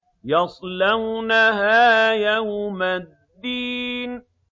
يَصْلَوْنَهَا يَوْمَ الدِّينِ